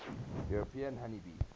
european honey bee